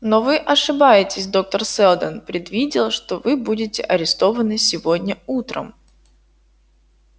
но вы ошибаетесь доктор сэлдон предвидел что вы будете арестованы сегодня утром